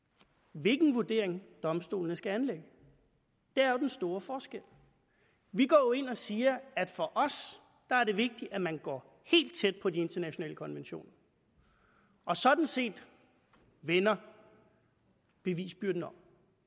hvilken vurdering domstolene skal anlægge det er jo den store forskel vi går ind og siger at for os er det vigtigt at man går helt tæt på de internationale konventioner og sådan set vender bevisbyrden om